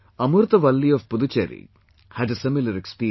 Amurtha Valli of Puducherry had a similar experience